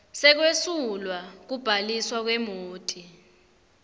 sekwesulwa kubhaliswa kwemoti